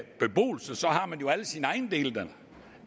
sine ejendele der